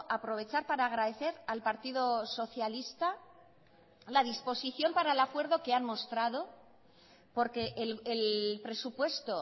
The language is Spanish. aprovechar para agradecer al partido socialista la disposición para el acuerdo que han mostrado porque el presupuesto